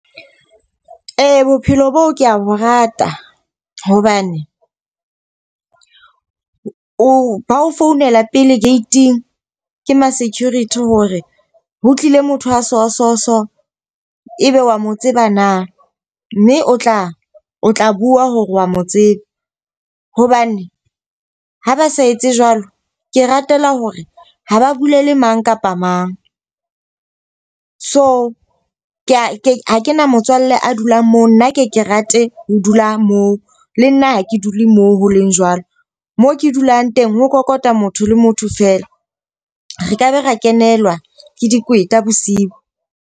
Ee, bophelo boo ke bo rata. Hobane o ba o founela pele gate-ing ke ma-security hore ho tlile motho a so so so e be wa mo tseba na. Mme o tla o tla bua hore wa mo tseba. Hobane ha ba sa etse jwalo. Ke ratela hore ha ba bulele mang kapa mang. So ke a ha ke na motswalle a dulang moo, nna ke ke rate ho dula moo. Le nna ha ke dule moo ho leng jwalo, moo ke dulang teng ho kokota motho le motho fela. Re ka be ra kenelwa ke dikweta bosiu.